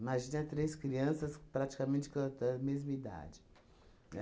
Imagina três crianças praticamente com tan mesma idade, né?